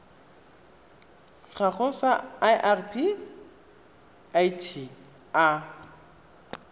gago sa irp it a